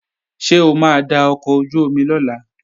Ṣé o máa da ọkọ̀ ojú-omi lọ̀la?